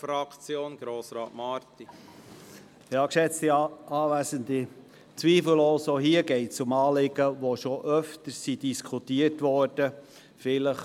Es geht hier zweifellos um Anliegen, die bereits öfter diskutiert worden sind.